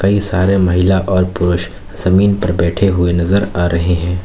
कई सारे महिला और पुरुष जमीन पर बैठे हुए नजर आ रहे हैं।